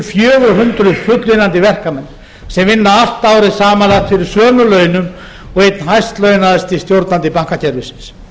fjögur hundruð fullvinnandi verkamenn sem vinna allt árið samanlagt fyrir sömu launum og einn hæst launaðsti stjórnandi bankakerfisins